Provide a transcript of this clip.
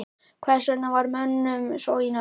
Hvers vegna var mönnum svo í nöp við hann?